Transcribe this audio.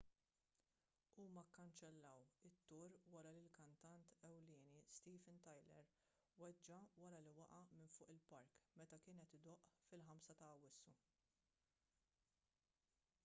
huma kkanċellaw it-tour wara li l-kantant ewlieni steven tyler weġġa' wara li waqa' minn fuq il-palk meta kien qed idoqq fil-5 ta' awwissu